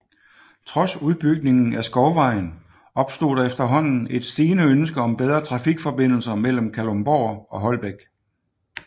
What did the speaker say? Trods udbygningen af Skovvejen opstod der efterhånden et stigende ønske om bedre trafikforbindelser mellem Kalundborg og Holbæk